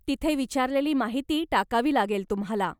तिथे विचारलेली माहिती टाकावी लागेल तुम्हाला.